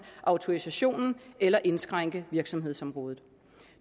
autorisationen eller indskrænke virksomhedsområdet